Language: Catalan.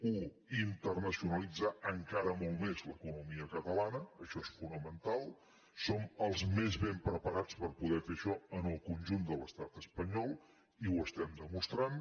u internacionalitzar encara molt més l’economia catalana això és fonamental som els més ben preparats per poder fer això en el conjunt de l’estat espanyol i ho estem demostrant